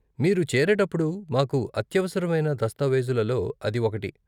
మీరు చేరేటప్పుడు మాకు అత్యవసరమైన దస్తావేజులలో అది ఒకటి.